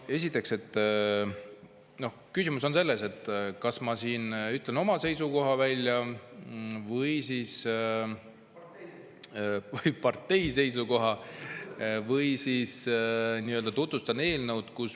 Esiteks, küsimus on selles, kas ma siin ütlen oma seisukoha välja või partei seisukoha või siis tutvustan eelnõu.